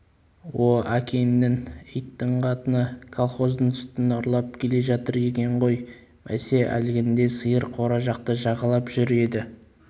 о әкеңнің иттің қатыны колхоздың сүтін ұрлап келе жатыр екен ғой бәсе әлгінде сиыр қора жақты жағалап жүр еді